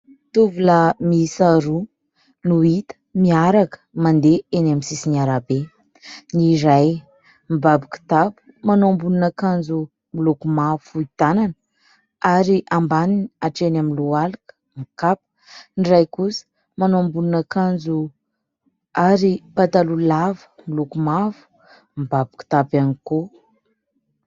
Tovolahy miisa roa no hita miaraka mandeha eny amin'ny sisin'ny arabe, ny iray mibaby kitapo manao ambonina akanjo miloko mavo fohy tanana ary ambaniny hatreny amin'ny lohalika, mikapa, ny ray kosa manao ambonin'akanjo ary pataloha lava miloko mavo mibaby kitapo ihany koa.